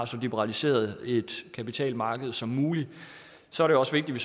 så liberaliseret kapitalmarked som muligt så er det også vigtigt at